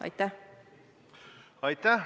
Aitäh!